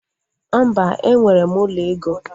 Mba, enwere m ụlọ ego